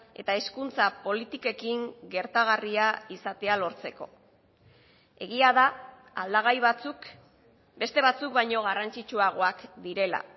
eta hezkuntza politikekin gertagarria izatea lortzeko egia da aldagai batzuk beste batzuk baino garrantzitsuagoak direla